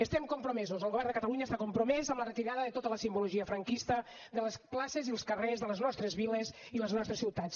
estem compromesos el govern de catalunya està compromès en la retirada de tota la simbologia franquista de les places i els carrers de les nostres viles i les nostres ciutats